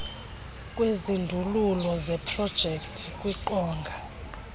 kwezindululo zeprojekthi kwiqonga